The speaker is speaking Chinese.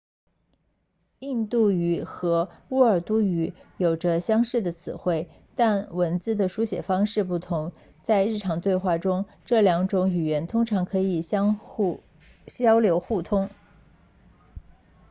印度语和乌尔都语有着相似的词汇但文字的书写方式不同在日常对话中这两种语言通常可以交流互通